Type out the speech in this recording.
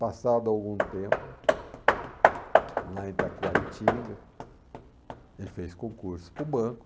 Passado algum tempo, lá em Itacoaritinga, ele fez concurso para o banco.